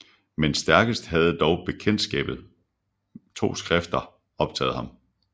Men stærkest havde dog Bekjendtskabet rned 2 Skrifter optaget ham